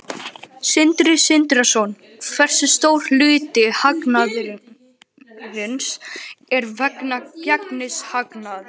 Sindri Sindrason: Hversu stór hluti hagnaðarins er vegna gengishagnaðar?